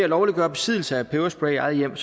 lovliggør besiddelse af peberspray i eget hjem